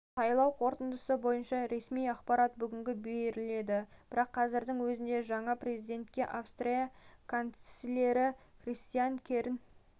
сайлау қорытындысы бойынша ресми ақпарат бүгін беріледі бірақ қазірдің өзінде жаңа президентке австрия канцлері кристиан керн